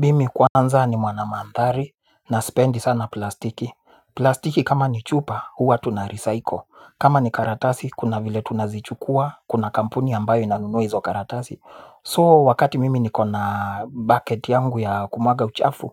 Mimi kwanza ni mwanamandhari na sipendi sana plastiki. Plastiki kama ni chupa huwa tunarecycle. Kama ni karatasi kuna vile tunazichukua. Kuna kampuni ambayo inanunua hizo karatasi So wakati mimi niko na bucket yangu ya kumwaga uchafu